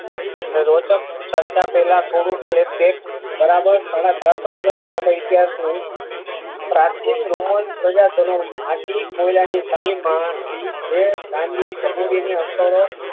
રોજ્ક કરતા પેલા થોડુક ફ્લેશબેક બરાબર સાડા ચારસો વર્ષ લાંબા ઈતિહાસ નું પ્રાચીન રોમન પદાર્થ નું માટી કોયલની સાહી માં અક્ષરો